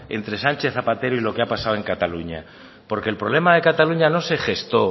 entre sánchez zapatero y lo que ha pasado en cataluña porque el problema de cataluña no se gestó